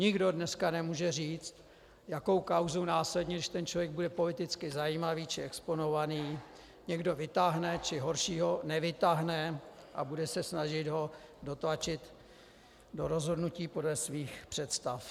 Nikdo dneska nemůže říct, jakou kauzou následně, když ten člověk bude politicky zajímavý či exponovaný, někdo vytáhne, či horšího, nevytáhne a bude se snažit ho dotlačit do rozhodnutí podle svých představ.